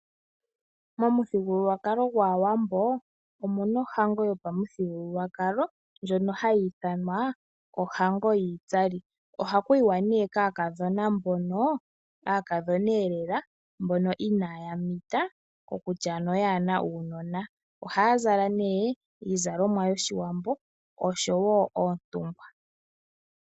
Momuthigululwakalo gwaAwambo omu na ohango yo pamuthigululwakalo, ndjono ha yi ithanwa ohango yiitsali. Oha ku yiwa ne kaakadhoba mbono aakadhoneelela, mbono inaa ya mita, kokutya ano kaa ye na uunona. Ohaa zala ne iizalomwa yoshiwambo osho wo oontungwa.